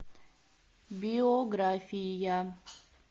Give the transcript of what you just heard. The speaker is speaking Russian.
биография